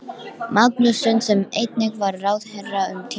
Já ástin mín, sagði pabbi þá og lyfti höndunum vandræðalega.